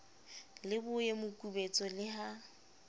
le boye mokubetso le ha